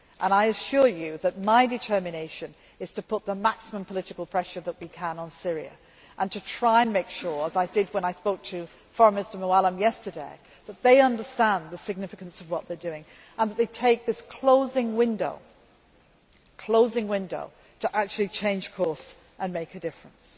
I assure you that my determination is to put the maximum political pressure that we can on Syria and to try and make sure as I did when I spoke to Foreign Minister Moallem yesterday that they understand the significance of what they are doing and that they take this closing window to actually change course and make a difference.